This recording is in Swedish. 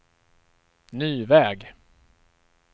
ny väg